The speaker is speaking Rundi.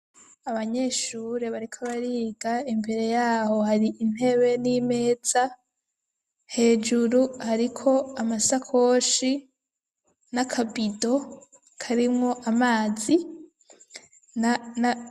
Abanyeshuri bariko bariga imbere yaho hari intebe nimeza hejuru hariko amasakoshi nakabido karimwo amazi na.